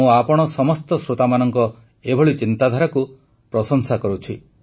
ମୁଁ ଆପଣ ସମସ୍ତ ଶ୍ରୋତାମାନଙ୍କ ଏଭଳି ଚିନ୍ତାଧାରାକୁ ପ୍ରଶଂସା କରୁଛି